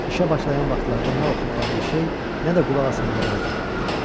İşə başlayan vaxtlarda nə oxumağa bir şey, nə də qulaq asmağa radio vardı.